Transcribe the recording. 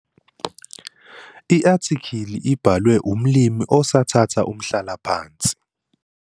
I-Athikhili ibhalwe umlimi osathatha umhlala phansi.